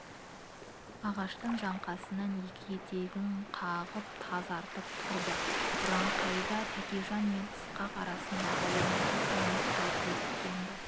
ағаштың жаңқасынан екі етегін қағып тазарып тұрды үраңқайда тәкежан мен ысқақ арасындағы оңаша кеңес ерте біткен-ді